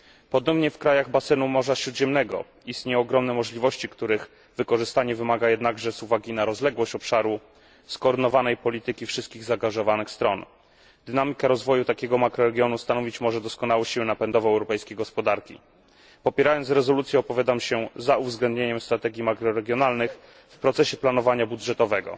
Podobnie w krajach basenu Morza Śródziemnego istnieją ogromne możliwości, których wykorzystanie, ze względu na rozległość obszaru, wymaga jednak skoordynowanej polityki wszystkich zaangażowanych stron. Dynamika rozwoju takiego makroregionu stanowić może doskonałą siłę napędową europejskiej gospodarki. Popierając rezolucję, opowiadam się za uwzględnieniem strategii makroregionalnych w procesie planowania budżetowego.